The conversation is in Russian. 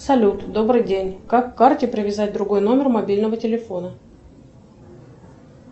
салют добрый день как к карте привязать другой номер мобильного телефона